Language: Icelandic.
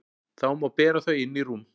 Þá má bera þau inn í rúm.